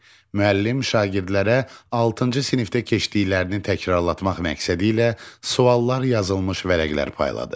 Müəllim şagirdlərə altıncı sinifdə keçdiklərini təkrarlatmaq məqsədilə suallar yazılmış vərəqlər payladı.